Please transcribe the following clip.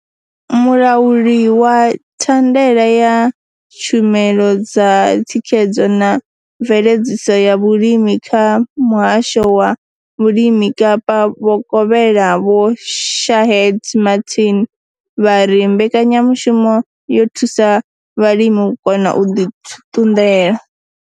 Mulauli wa thandela ya tshumelo dza thikhedzo na mveledziso ya vhulimi kha Muhasho wa Vhulimi Kapa Vhokovhela Vho Shaheed Martin vha ri mbekanya mushumo yo thusa vhalimi u kona u ḓi ṱunḓela.